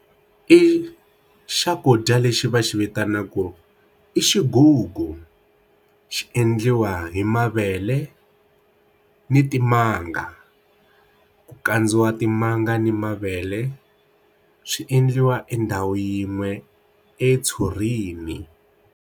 I xakudya lexi va xi vitanaka ku i xigugu xi endliwa hi mavele ni timanga ku kandziwa timanga ni mavele xi endliwa endhawu yin'we etshurini.